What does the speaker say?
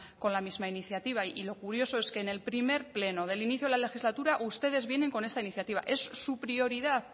con la misma iniciativa y lo curioso es que en el primer pleno del inicio de la legislatura ustedes vienen con esta iniciativa es su prioridad